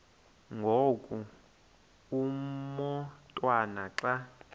ngoku umotwana xa